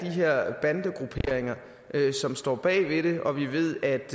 her bandegrupperinger som står bag det og vi ved at